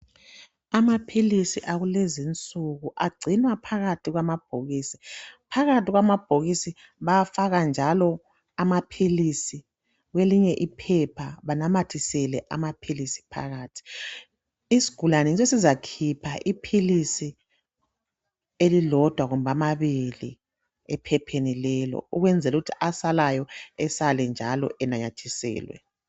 Amaphilisi akulezinsuku agcinwa phakathi kwamabhokisi. Phakathi kwamabhokisi bayafaka njalo amaphilisi kwelinye iphepha banamathisele amaphilisi phakathi. Isigulane sesizakhipha iphilisi elilodwa kumbe amabili ephepheni lelo ukwenzela ukuthi asalayo esake njalo enanyathiselwe.